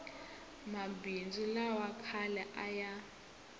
mabindzu lawa khale a ya